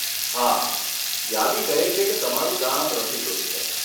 હા, યાદી કહે છે કે તમારું ગામ રસીકૃત છે.